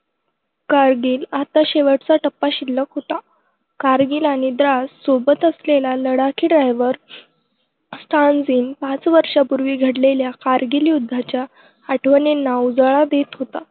कारगिल! आता शेवटचा टप्पा शिल्लक होता. कारगिल आणि द्रास! सोबत असलेला लडाखी driver स्टानझिन पाच वर्षांपूर्वी घडलेल्या कारगिल युद्धाच्या आठवणींना उजाळा देत होता.